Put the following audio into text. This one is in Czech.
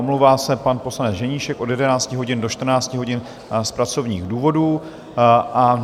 Omlouvá se pan poslanec Ženíšek od 11 hodin do 14 hodin z pracovních důvodů.